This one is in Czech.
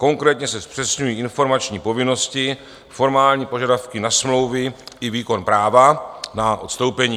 Konkrétně se zpřesňují informační povinnosti, formální požadavky na smlouvy i výkon práva na odstoupení.